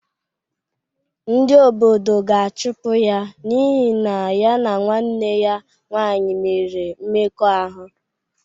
Ndị obodo ga-achụpụ ya n’ihi na ya na nwanne ya nwaanyị mere mmekọahụ.